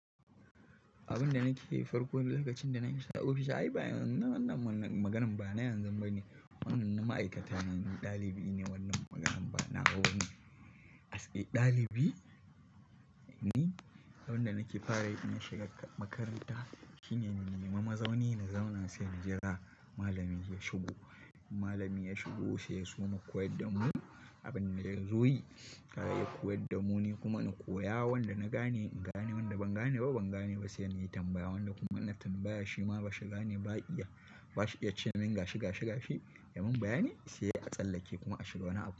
Abin da nake farko lokacin da na shiga ofishin, ai bayanan wannan maganan ba na yanzu bane. Wannan ma'aikata ne, ɗalibi ne wannan maganan ba na wa bane. As a ɗalibi, ni abin da nake fara yi inna shiga makaranta shine in nemi mazauni na zaunasai in jira malami ya shigo. Malami ya shigo sai ya soma koyarda mu abin da ya zo yi. Sai ya koyarda mu, ni kuma na koya wanda na gane, in gane wanda ban gane ba ban gane ba sai an yi tambaya wanda kuma in na tambaya shi ma ba shi gane ba iya. Ba shi iya cewa min gashi gashi gashi ya mun bayani sai a tsallake kuma a shiga wani abu.